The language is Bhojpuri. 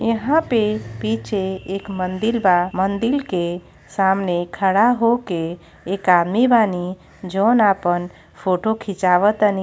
यहां पे पीछे एक मंदील बा मंदिल के सामने खड़ा होके एक आमी बानी जौन आपन फोटो खिचवतानी।